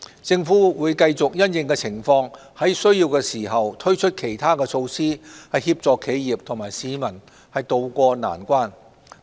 政府會繼續因應情況在有需要時推出其他措施，協助企業和市民渡過難關。